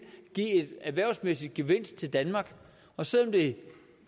give en erhvervsmæssig gevinst til danmark og selv om det